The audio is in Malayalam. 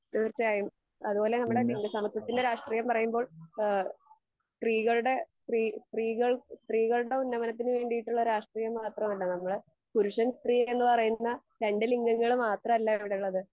തീർച്ചായും അതുപോലെ നമ്മടെ ലിംഗ സമ്മത്വത്തിന്റെ രാക്ഷ്ട്രിയം പറയുമ്പോ ഏഹ് സ്ത്രീകൾടെ സ്ത്രീ സ്ത്രീകൾ സ്ത്രീകൾടെ ഉന്നമനത്തിന് വേണ്ടിയിട്ടുള്ള രാക്ഷ്ട്രിയം മാത്രമാണെന്ന് പുരുഷൻ സ്ത്രീ എന്ന് പറയുന്ന രണ്ട് ലിഗങ്ങൾ മാത്രല്ല ഇവിടെയുള്ളത്